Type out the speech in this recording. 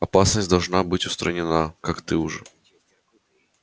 опасность должна быть устранена как ты уже